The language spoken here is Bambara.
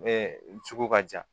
Ɛɛ sugu ka jan